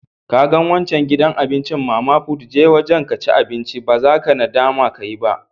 Ka gan wancan gidan abincin mama put, je wajen ka ci abinci. Ba za ka nadama ka yi ba.